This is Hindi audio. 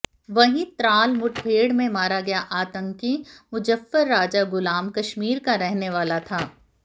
वहीं त्राल मुठभेड़ में मारा गया आतंकी मुजफ्फर राजा गुलाम कश्मीर का रहने वाला था